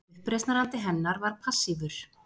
Uppreisnarandi hennar var passífur